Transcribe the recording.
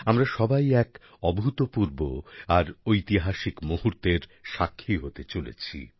আমরা সবাই এক অভূতপূর্ব আর ঐতিহাসিক মুহূর্তের সাক্ষী হতে চলেছি